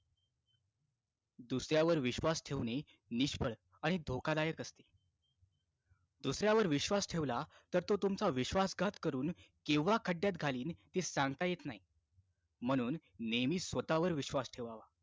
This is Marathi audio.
दुसऱ्यावर विश्वास ठेवणे निष्फळ आणि धोकादायक असते दुसऱ्यावर विश्वास ठेवला तर तो तुमचा विश्वास घात करून केव्हा खड्यात घालेल ते सांगता येत नाही म्हणून नेहमी स्वतःवर विश्वास ठेवावा